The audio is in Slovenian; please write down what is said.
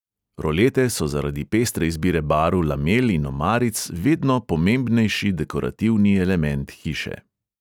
Rolete so zaradi pestre izbire barv lamel in omaric vedno pomembnejši dekorativni element hiše.